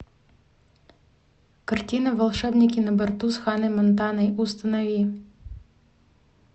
картина волшебники на борту с ханной монтаной установи